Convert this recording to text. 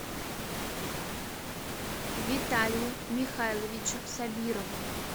виталию михайловичу сабирову